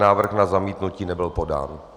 Návrh na zamítnutí nebyl podán.